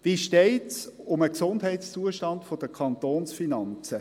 Wie steht es um den Gesundheitszustand der Kantonsfinanzen?